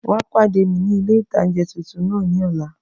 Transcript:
Wá pàdé mi ní ilé-ìtánjẹ tuntun náà ní ọ̀la